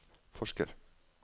forsker